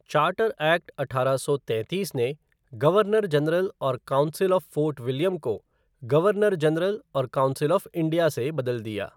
Charter act अठारह सौ तैंतीस ने गवर्नर जनरल और काउंसिल ऑफ़ फ़ोर्ट विलियम को गवर्नर जनरल और काउंसिल ऑफ़ इंडिया से बदल दिया।